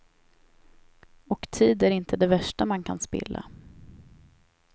Och tid är inte det värsta man kan spilla.